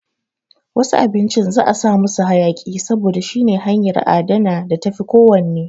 Wasu abinci za'a sa musu hayaƙi saboda shine hanyan adana da tafi ko wann